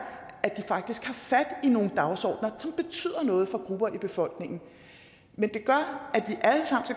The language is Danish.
at de faktisk har fat i nogle dagsordener som betyder noget for grupper i befolkningen men det gør